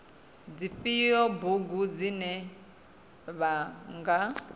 dzifhio bugu dzine vha nga